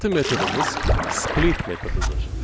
Növbəti metodumuz split metodudur.